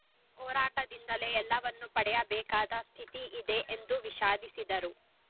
ಹೋರಾಟದಿಂದಲೇ ಎಲ್ಲವನ್ನೂ ಪಡೆಯಬೇಕಾದ ಸ್ಥಿತಿ ಇದೆ ಎಂದು ವಿಷಾದಿಸಿದರು